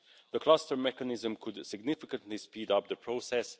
The cluster mechanism could significantly speed up the process.